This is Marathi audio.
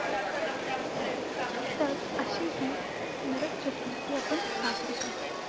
तर अशी हि नरक चतुर्थी आपण साजरी करतो.